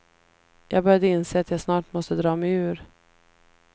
Jag började inse att jag snart måste dra mig ur.